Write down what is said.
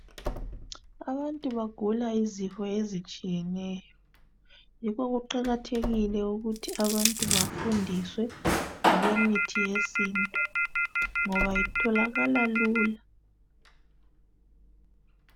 Abantu bagula izifo ezitshiyeneyo yikho kuqakathekile ukuthi abantu bafundiswe ngokwe mithi yesintu ngoba itholakala lula.